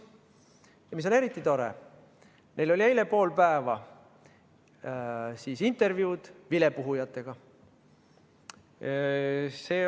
Ja mis on eriti tore: neil olid eile pool päeva kestnud intervjuud vilepuhujatega.